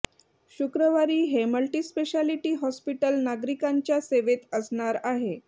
शुक्रवारी हे multispeciality hospital नागरिकांच्या सेवेत असणार आहे